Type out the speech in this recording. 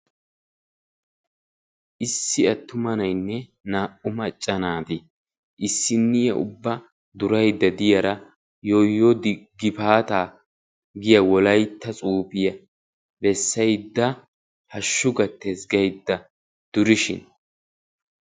Issi attuma na'ayinne naa"u macca naati issinniya ubba durayidda diyaara yooyoo gifaataa giya wolaytta tsuufiya bessayidda hashshu gattes gaydda durishin